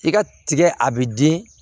I ka tigɛ a bɛ den